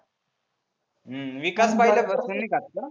हम्म विकास पहिल्या पासुन नाही खात का?